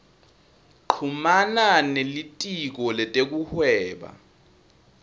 chumana nelitiko letekuhweba